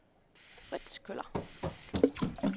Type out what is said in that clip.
Frits Kjøller